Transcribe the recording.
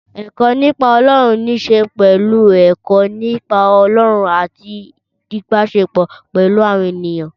Ẹ̀kọ́ nípa Ọlọ́run níṣe pẹ̀lú ẹ̀kọ́ nípa Ọlọ́run àti ìbáṣepọ̀ pẹ̀lú àwọn ènìyàn.